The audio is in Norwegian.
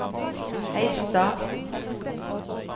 Heistad